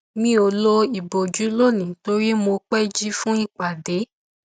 mi ò lo ìbòjú lónìí torí mo pẹ jí fún ipade